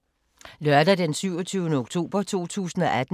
Lørdag d. 27. oktober 2018